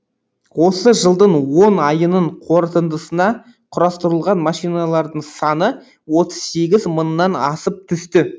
осы жылдың он айының қорытындысына құрастырылған машиналардың саны отыз сегіз мыңнан асып түсті